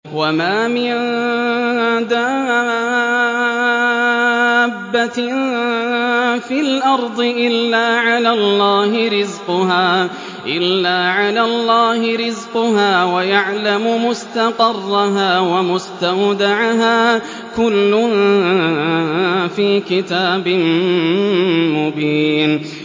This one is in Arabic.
۞ وَمَا مِن دَابَّةٍ فِي الْأَرْضِ إِلَّا عَلَى اللَّهِ رِزْقُهَا وَيَعْلَمُ مُسْتَقَرَّهَا وَمُسْتَوْدَعَهَا ۚ كُلٌّ فِي كِتَابٍ مُّبِينٍ